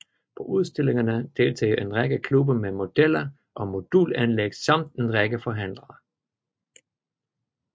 På udstillingerne deltager en række klubber med modeller og modulanlæg samt en række forhandlere